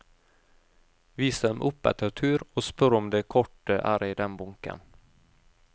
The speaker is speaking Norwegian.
Vis dem opp etter tur og spør om det kortet er i den bunken.